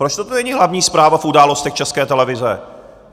Proč toto není hlavní zpráva v Událostech České televize.